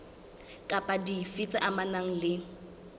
kapa dife tse amanang le